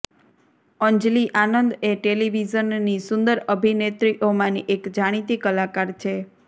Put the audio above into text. અંજલિ આનંદ એ ટેલિવિઝનની સુંદર અભિનેત્રીઓમાંની એક જાણીતી કલાકાર છે